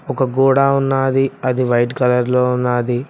ఒక గోడా ఉన్నాది అది వైట్ కలర్ లో ఉన్నాది.